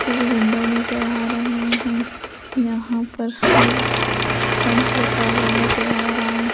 के विंडो नजर आ रहे हैं यहां पर हर स्टंप लगा हुआ नजर आ रहा है।